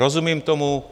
Rozumím tomu.